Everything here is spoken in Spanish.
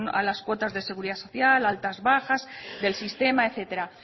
a las cuotas de la seguridad social altas bajas del sistema etcétera